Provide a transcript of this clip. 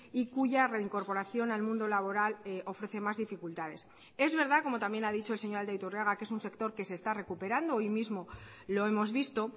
y cuya reincorporación al mundo laboral ofrece más dificultades es verdad como también ha dicho el señor aldaiturriaga que es un sector que se está recuperando hoy mismo lo hemos visto